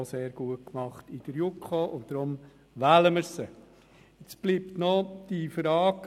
Ich kenne Daniel Bichsel sehr gut, so auch Peter Siegenthaler und Monika Gygax.